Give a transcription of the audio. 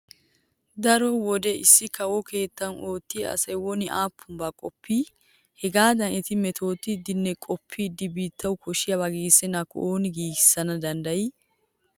Daro wode issi kawo keettan oottiya asay woni aappunaba qoppii? Hehaadan eti metootidinne qoppidi biittawu koshshiyaba giigissennaakko ooni giigissana danddayii?